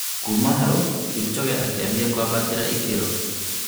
Kuma hau Kipchoge akianjia kwambatĩta ikĩro